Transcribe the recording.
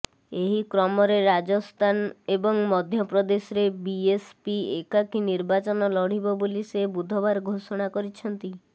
ଏହି କ୍ରମରେ ରାଜସ୍ଥାନ ଏବଂ ମଧ୍ୟପ୍ରଦେଶରେ ବିଏସ୍ପି ଏକାକୀ ନିର୍ବାଚନ ଲଢିବ ବୋଲି ସେ ବୁଧବାର ଘୋଷଣା କରିଛନ୍ତି